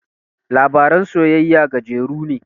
Labaran soyayya gajeru ne